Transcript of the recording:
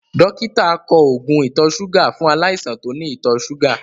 Dọ́kítà kọ oògùn ìtọ̀-súgà fún aláìsàn tó ní ìtọ̀-súgà.